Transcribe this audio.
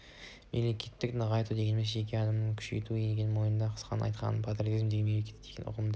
мемлекетті нығайту дегеніміз жеке адамды күшейту екенін мойындау қысқасын айтқанда патриотизм дегеніміз мемлекет деген ұғымды